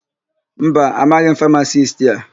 Mba, amaghị m famasisti a.